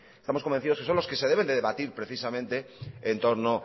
estamos convencidos que son los que se deben de debatir precisamente en torno